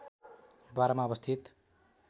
१२ मा अवस्थित